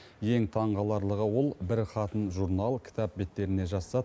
ең таң қаларлығы ол бір хатын журнал кітап беттеріне жазса